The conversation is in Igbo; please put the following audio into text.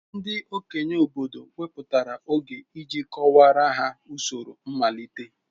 Ndị okenye obodo wepụtara oge iji kọwaara ha usoro mmalite.